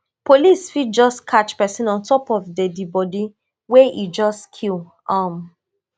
police fit just catch pesin on top of deadibodi wey e just kill um